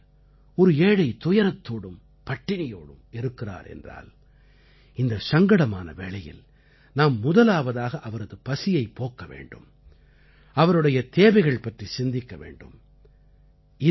எங்கேயாவது ஒரு ஏழை துயரத்தோடும் பட்டினியோடும் இருக்கிறார் என்றால் இந்தச் சங்கடமான வேளையில் நாம் முதலாவதாக அவரது பசியைப் போக்க வேண்டும் அவருடைய தேவைகள் பற்றி சிந்திக்க வேண்டும்